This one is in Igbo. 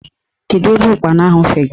Kedu ebe ụkpana ahụ fegara?